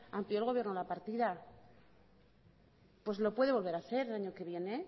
amplió el gobierno la partida pues lo puede volver a hacer el año que viene